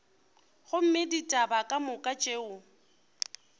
gomme ditaba ka moka tšeo